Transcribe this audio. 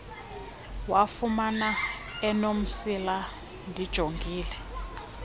wafumana enomsila ndijongile